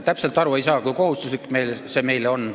Täpselt ei saa aru, kui kohustuslik see meile on.